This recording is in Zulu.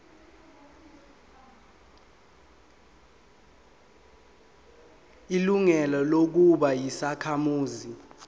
ilungelo lokuba yisakhamuzi